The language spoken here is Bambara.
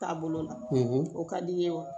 Taabolo la o ka di n ye wa